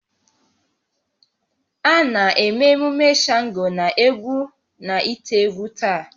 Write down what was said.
A na-eme emume Shango n'egwu na ite-egwu taa